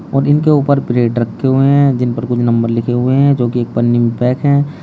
और इनके ऊपर ब्रेड रखे हुए हैं जिन पर कुछ नंबर लिखे हुए हैं जो कि एक पन्नी मे पैक हैं।